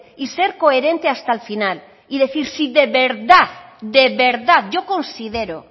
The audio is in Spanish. y ser coherente hasta el final y decir si de verdad yo considero